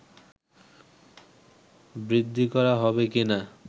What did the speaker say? বৃদ্ধি করা হবে কি না